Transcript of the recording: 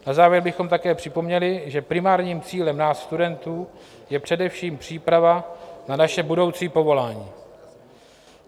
Na závěr bychom také připomněli, že primárním cílem nás studentů je především příprava na naše budoucí povolání.